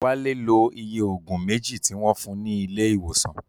Wálé lo iye Ògùn méjì tí wọ́n fun ní ilé ìwòsàn